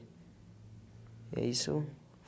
E é isso.